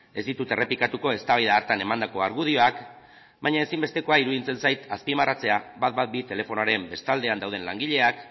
ez ditut errepikatuko eztabaida hartan emandako argudioak baina ezinbestekoa iruditzen zait azpimarratzea ehun eta hamabi telefonoaren bestaldean dauden langileak